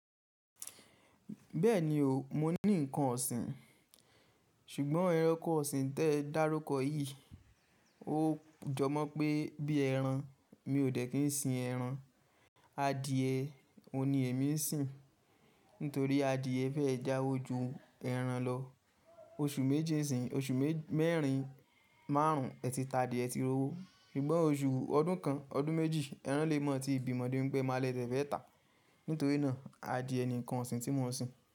Bẹ́ẹ̀ni o, mo ní nǹkan ọ̀sìn. Ṣùgbọ́n ẹranko ọ̀sìn tẹ́ dárúkọ yìí ó jọ mọ́ pé bí ẹran, mi ò dẹ̀ kí n sin ẹran. Adìẹ òhun ni èmi n sin, nítorí adìẹ fẹ́ jáwo jú ẹran lọ. Oṣù méjì sìn, oṣù mẹ́rin márùn ún ẹ ti ta adìẹ ẹ ti rowo. Ṣùgbọ́n oṣù ọdún kan, ọdún méjì ẹran lè mọ tí bímo débi pé, ẹ máa ní ẹ dè fẹ́ tà. Nítorí náà adìẹ ni nǹkan ọ̀sìn tí mo n sin.